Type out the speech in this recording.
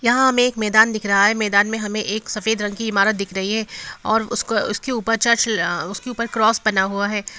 यहाँ हमें एक मैदान दिख रहा है मैदान में हमें एक सफ़ेद रंग की इमारत दिख रही है और उसको उसके ऊपर चर्च उसकी ऊपर क्रॉस बना हुआ है।